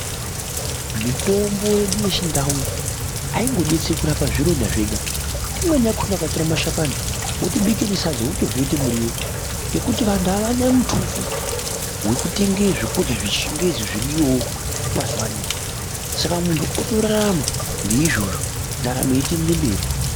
Mitombo yedu yechindau haindodetseri kurapa zvironda zvedu imweni yakona ukatore mashakani wotobike nesadza wotorye kuite miryo ngekuti vanhu avana mutuso wekutenge zvekrya zvechingezi zviriyowo mazuwano saka munhu otorarama ngeizvozvo ndaramo yeitoende mberi.